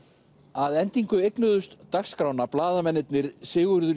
að endingu eignuðust dagskrána blaðamennirnir Sigurður